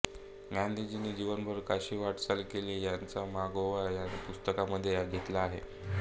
गांधीजींनी जीवनभर कशी वाटचाल केली ह्याचा मागोवा या पुस्तकामध्ये घेतला आहे